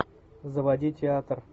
заводи театр